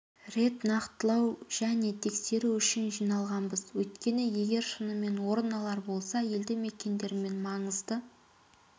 рет нақтылау және тексеру үшін жиналғанбыз өйткені егер шынымен орын алар болса елді-мекендер мен маңызды